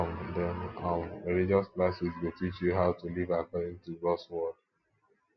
um dem um religious classes go teach you how to live according to gods word